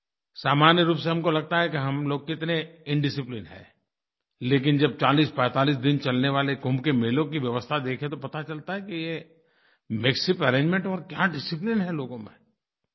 सामान्य रूप से हमको लगता है कि हम लोग कितने इंडिसिप्लिंड हैं लेकिन जब 4045 दिन चलने वाले कुम्भ के मेलों की व्यवस्था देखें तो पता चलता है कि ये मेकशिफ्ट अरेंजमेंट और क्या डिसिप्लिन है लोगों में